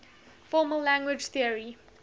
formal language theory